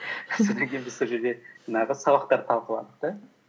содан кейін біз сол жерде жаңағы сабақтарды талқыладық та